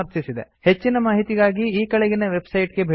ಹೆಚ್ಚಿನ ಮಾಹಿತಿಗಾಗಿ ಈ ಕೆಳಗಿನ ವೆಬ್ಸೈಟ್ ಗೆ ಭೇಟಿ ಕೊಡಿ